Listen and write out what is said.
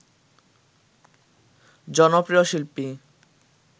জনপ্রিয় শিল্পী